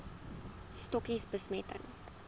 stokkies bemesting